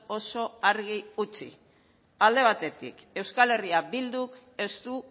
oso argi utzi alde batetik euskal herria bilduk ez du